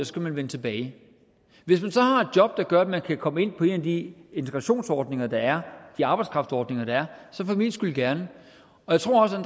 skal man vende tilbage hvis man så har et job der gør at man kan komme ind på en af de integrationsordninger der er de arbejdskraftsordninger der er så for min skyld gerne jeg tror også at